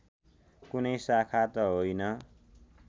कुनै शाखा त होइन